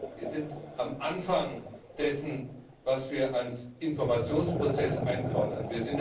Wir sind am Anfang dessen, was wir als Informationsprozess einfordern.